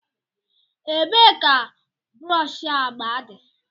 Ebee ka brọsh agba dị?